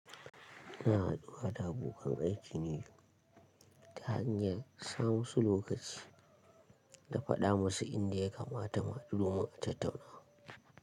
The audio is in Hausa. Ina haduwa da abokan aiki ne ta hanyar sa musu lokaci da faɗa musu inda ya kamata mu haɗu mu tattauna.